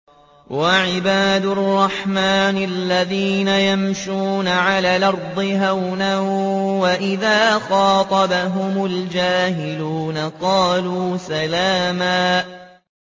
وَعِبَادُ الرَّحْمَٰنِ الَّذِينَ يَمْشُونَ عَلَى الْأَرْضِ هَوْنًا وَإِذَا خَاطَبَهُمُ الْجَاهِلُونَ قَالُوا سَلَامًا